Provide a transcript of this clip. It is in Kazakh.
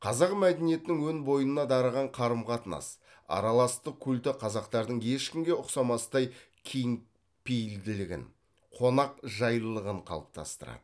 қазақ мәдениетінің өн бойына дарыған қарым қатынас араластық культі қазақтардың ешкімге ұқсамастай кеңпейілділігін қонақжайлылығын қалыптастырады